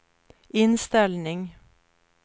inställning